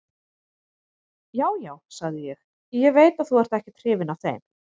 Já, já, sagði ég, ég veit að þú ert ekkert hrifinn af þeim.